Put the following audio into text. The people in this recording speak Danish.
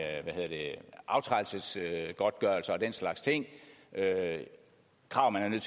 aftrædelsesgodtgørelse og den slags ting krav man er